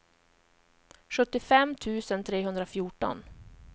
sjuttiofem tusen trehundrafjorton